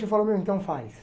Eu falo, meu, então faz.